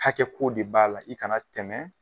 Hakɛ ko de b'a la . I ka na tɛmɛ